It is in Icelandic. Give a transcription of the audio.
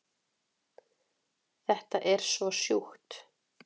Þetta er svo sjúkt